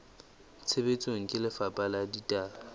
tshebetsong ke lefapha la ditaba